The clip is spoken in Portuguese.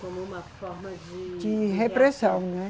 Como uma forma de. De repressão, né?